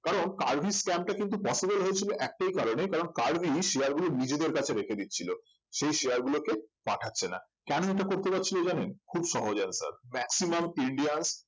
কারণ কার্ভি scam টা কিন্তু possible হয়েছিল একটাই কারণে কারণ কার্ভি share গুলো নিজেদের কাছে রেখে দিয়ে ছিল সেই share গুলোকে পাঠাচ্ছে না কেন এটা করতে যাচ্ছিলো জানেন খুব সহজ answer maximum indians